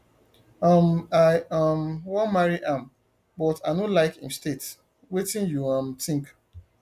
um i um wan marry am but i no like im state wetin you um think